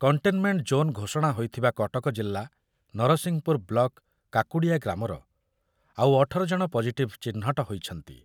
Containment zone ଘୋଷଣା ହୋଇଥିବା କଟକ ଜିଲ୍ଲା ନରସିଂହପୁର ବ୍ଲକ କାକୁଡିଆ ଗ୍ରାମର ଆଉ ଅଠର ଜଣ ପଜିଟିଭ୍ ଚିହ୍ନଟ ହୋଇଛନ୍ତି।